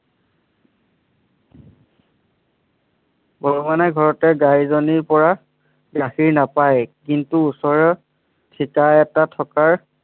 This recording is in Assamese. ঘৰতে গাইজনীৰ পৰা গাখীৰ নাপায় কিন্তু ওচৰৰ থিতা এটা থকাৰ